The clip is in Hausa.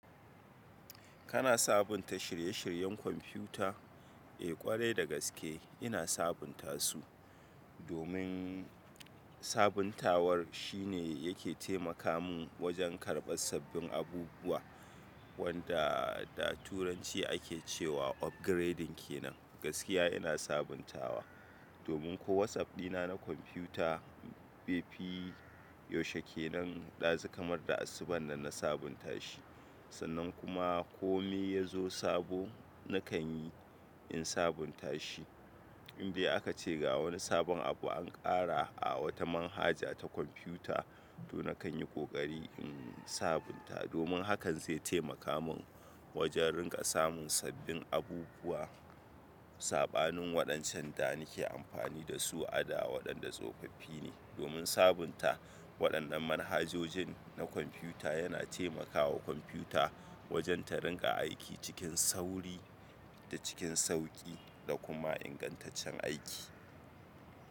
Kana sabunta shirye-shiryen kwamfuta? Eh ƙwarai da gaske ina sabunta su. Domin sabuntawar shine yake taimaka min wajen karɓar sabbin abubuwa wanda da turanci ake cewa upgrading kenan. Gaskiya ina sabuntawa, domin ko WhatsApp dina na kwamfuta bai fi yaushe ke nan ɗazu kamar da asubun da na sabunta shi. Sannan kuma kome ya zo sabo nakan yi in sabunta shi. Inde aka ce ga wani sabon abu an ƙara a wata manhaja ta kwamfuta, to nakan yi ƙoƙari in sabunta domin hakan zai taimaka min wajen ringa samun sabbin abubuwa. Saɓanin waɗancan da nake amfani da su a'da waɗanda tsofaffi ne. Domin sabunta waɗannan manhajojin na kwamfuta yana taimakawa kwamfuta wajen ta ringa aiki cikin sauri da cikin sauƙi da kuma ingantaccen aiki.